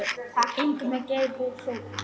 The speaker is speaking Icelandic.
Inn með Geir! voru hrópuð.